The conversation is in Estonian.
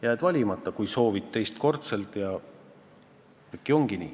Jääd valimata, kuigi soovid teist korda koosseisu saada.